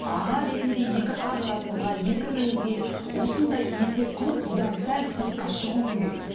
аға ретінде екі қарындасыңызға екі ініңізге осындай есеп қылып бұдан сәл сыртқа шығу керек